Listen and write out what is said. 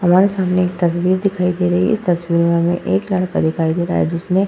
हमारे सामने एक तस्वीर दिखाई दे रही है। इस तस्वीर में हमें एक लड़का दिखाई दे रहा है जिसने --